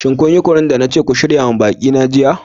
Shin kun yi kunu na ce ku shirya wa baƙi na jiya?